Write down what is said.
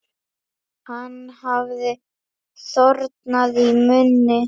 Hann hafði þornað í munni.